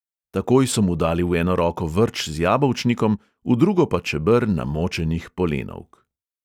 Takoj so mu dali v eno roko vrč z jabolčnikom, v drugo pa čeber namočenih polenovk.